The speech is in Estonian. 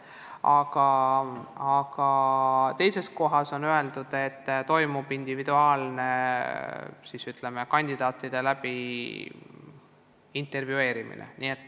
Aga teises kohas on öeldud, et toimuvad individuaalsed vestlused kandidaatidega.